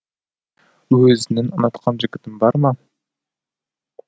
өзінің ұнатқан жігітің бар ма